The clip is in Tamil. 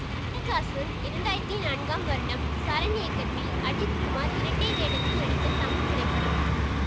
அட்டகாசம் இரண்டாயிரத்தி நான்காம் வருடம் சரண் இயக்கத்தில் அஜித் குமார் இரட்டை வேடத்தில் நடித்த தமிழ் திரைப்படம்